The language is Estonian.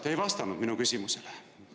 Te ei vastanud minu küsimusele.